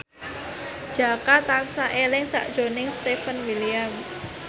Jaka tansah eling sakjroning Stefan William